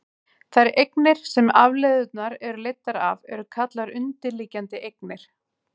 þær eignir sem afleiðurnar eru leiddar af eru kallaðar undirliggjandi eignir